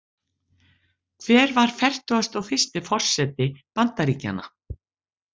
Hver var fertugasti og fyrsti forseti Bandaríkjanna?